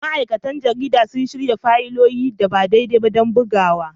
Ma'aikatan jarida sun shirya fayilolin da ba daidai ba don bugawa